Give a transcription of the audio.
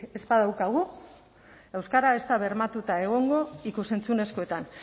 ez badaukagu euskara ez da bermatuta egongo ikus entzunezkoetan